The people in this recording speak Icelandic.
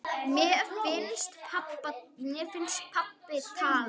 Mér finnst pabbi tala.